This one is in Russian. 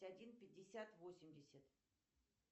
один пятьдесят восемьдесят